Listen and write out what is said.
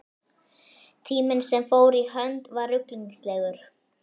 Tíminn sem fór í hönd var ruglingslegur.